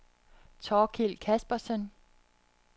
Thorkild Kaspersen